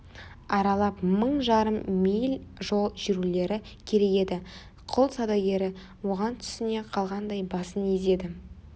аралап мың жарым миль жол жүрулері керек еді құл саудагері оған түсіне қалғандай басын изеді